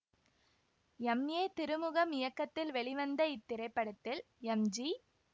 M A Thirumugam இயக்கத்தில் வெளிவந்த இத்திரைப்படத்தில் எம் ஜி